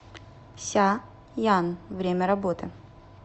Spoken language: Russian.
ся ян время работы